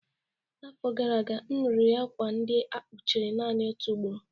N'afọ gara aga, m riri akwa ndị a kpụchara naanị otu ugboro